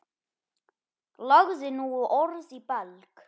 Lagði nú orð í belg.